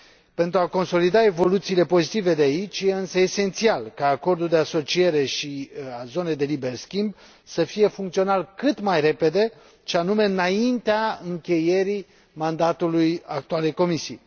Pentru a consolida evoluțiile pozitive de aici, este însă esențial ca Acordul de asociere și al Zonei de liber schimb să fie funcțional cât mai repede, și anume înaintea încheierii mandatului actualei Comisii.